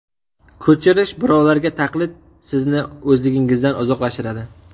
Ko‘chirish, birovlarga taqlid sizni o‘zligingizdan uzoqlashtiradi.